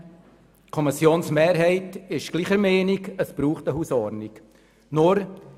der SiK. Die Kommissionsmehrheit ist ebenfalls der Meinung, dass es eine Hausordnung braucht.